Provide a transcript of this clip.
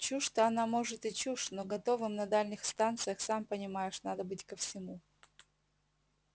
чушь-то она может и чушь но готовым на дальних станциях сам понимаешь надо быть ко всему